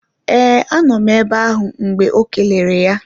Ee anọ m ebe ahụ mgbe ọ kelere ya